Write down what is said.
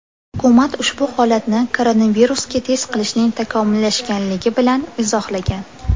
Hukumat ushbu holatni koronavirusga test qilishning takomillashganligi bilan izohlagan.